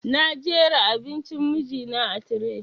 Na jera abincin miji na a tire